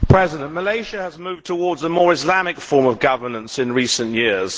Mr President, Malaysia has moved towards a more Islamic form of governance in recent years.